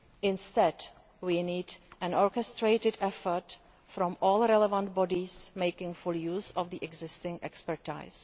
Instead, we need an orchestrated effort from all relevant bodies, making full use of the existing expertise.